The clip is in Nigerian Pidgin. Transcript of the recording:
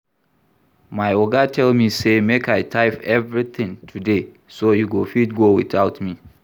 My Oga tell me say make I type everything today so you go fit go without me